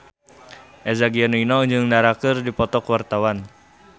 Eza Gionino jeung Dara keur dipoto ku wartawan